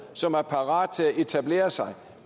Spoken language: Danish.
som er parat til at etablere sig